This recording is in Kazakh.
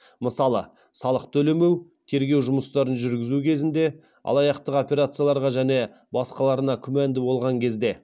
мысалы салық төлемеу тергеу жұмыстарын жүргізу кезінде алаяқтық операцияларға және басқаларына күмәнді болған кезде